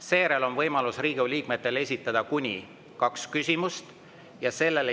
Seejärel on Riigikogu liikmetel võimalus esitada kuni kaks küsimust.